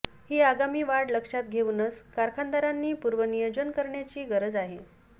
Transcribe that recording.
ही आगामी वाढ लक्षात घेऊनच कारखानदारांनी पूर्वनियोजन करण्याची गरज आहे